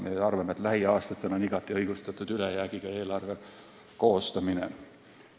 Me arvame, et lähiaastatel on igati õigustatud ülejäägiga eelarve koostamine.